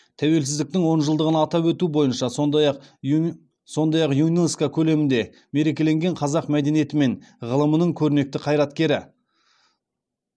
тәуелсіздіктің он жылдығын атап өту бойынша сондай ақ юнеско көлемінде мерекеленген қазақ мәдениеті мен ғылымының көрнекті қайраткерлері